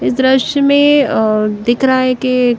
इस दृश्य में अ दिख रहा है कि--